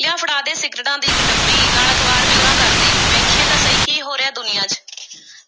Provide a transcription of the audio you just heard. ਲਿਆ ਫੜਾ ਦੇ, ਸਿਗਰਟਾਂ ਦੀ ਇੱਕ ਡੱਬੀ, ਨਾਲ਼ ਅਖ਼ਬਾਰ ਵੀ ਉਰਾਂ ਕਰ ਦੇ, ਵੇਖੀਏ ਤਾਂ ਸਹੀ ਕੀ ਹੋ ਰਿਹੈ ਦੁਨੀਆ ਚ।